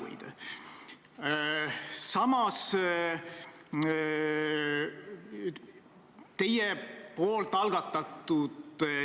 Ütlesin ka seda, et Isamaa on hea koalitsioonipartner.